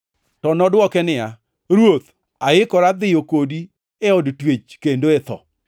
To nodwoke niya, “Ruoth, aikora dhiyo kodi e od twech kendo e tho.”